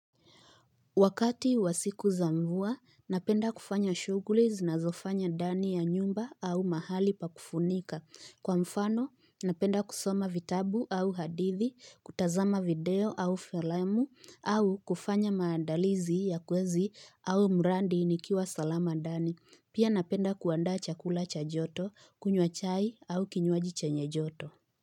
Wakati wa siku za mvua, napenda kufanya shughli zinazofanya ndani ya nyumba au mahali pa kufunika. Kwa mfano, napenda kusoma vitabu au hadithi, kutazama video au filamu, au kufanya maandalizi ya kwezi au mradi nikiwa salama ndani. Pia napenda kuandaa chakula cha joto, kunywa chai au kinywaji chenye joto.